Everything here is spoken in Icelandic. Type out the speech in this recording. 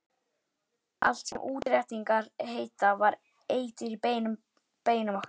Allt sem útréttingar heita var eitur í beinum okkar.